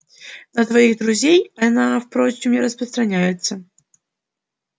на твоих друзей она впрочем не распространяется